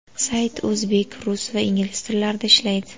Sayt o‘zbek, rus va ingliz tillarida ishlaydi.